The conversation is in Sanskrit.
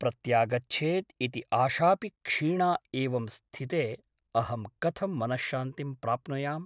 प्रत्यागच्छेत् इति आशापि क्षीणा एवं स्थिते अहं कथं मनश्शान्तिं प्राप्नुयाम् ?